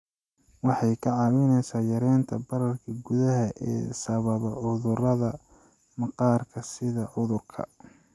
Waxay kaa caawinaysaa yaraynta bararka gudaha ee sababa cudurrada maqaarka sida cudurka